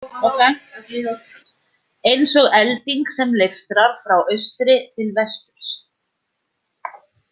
Eins og elding sem leiftrar frá austri til vesturs.